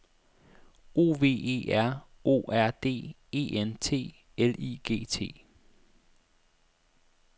O V E R O R D E N T L I G T